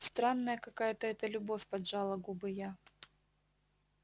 странная какая-то это любовь поджала губы я